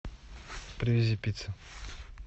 привези пиццы